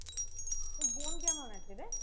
তোর বোন কেমন আছে রে?